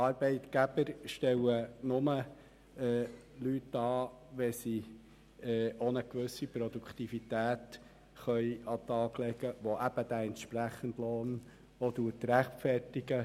Arbeitgeber stellen nur Leute an, wenn sie eine gewisse Produktivität an den Tag legen können, die den entsprechend zu zahlenden Lohn auch rechtfertigt.